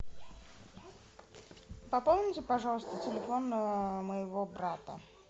пополните пожалуйста телефон моего брата